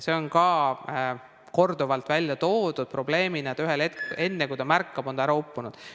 See on ka korduvalt välja toodud probleemina, et ühel hetkel, enne kui ta ise märkab, on ta ära uppunud.